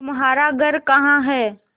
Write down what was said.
तुम्हारा घर कहाँ है